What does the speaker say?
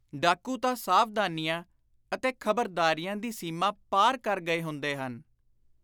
ਡਾਕੂ ਤਾਂ ਸਾਵਧਾਨੀਆਂ ਅਤੇ ਖ਼ਬਰਦਾਰੀਆਂ ਦੀ ਸੀਮਾ ਪਾਰ ਕਰ ਗਏ ਹੁੰਦੇ ਹਨ।